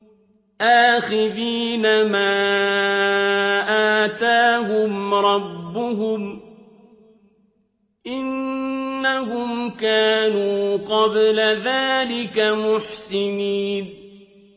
آخِذِينَ مَا آتَاهُمْ رَبُّهُمْ ۚ إِنَّهُمْ كَانُوا قَبْلَ ذَٰلِكَ مُحْسِنِينَ